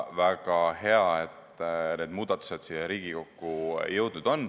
Väga hea, et need muudatused on siia Riigikokku jõudnud.